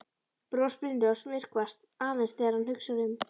Bros Brynjólfs myrkvast aðeins þegar hann hugsar um